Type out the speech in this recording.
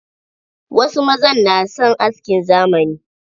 Wasu mazan na son askin zamani